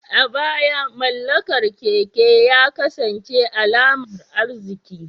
A baya, mallakar keke ya kasance alamar arziki.